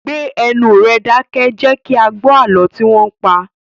Gbé ẹnu rẹ dákẹ́! Jẹ kí a gbó àlọ́ tí wọn ń pa!